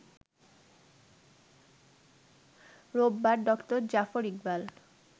রোববার ড.জাফর ইকবাল